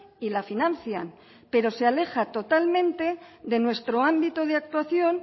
y la financian pero se aleja totalmente de nuestro ámbito de actuación